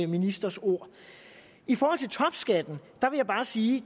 ministers ord i forhold til topskatten vil jeg bare sige